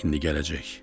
İndi gələcək.